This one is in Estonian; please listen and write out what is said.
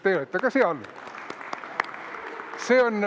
Teie olete ka seal.